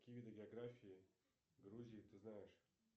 какие виды географии грузии ты знаешь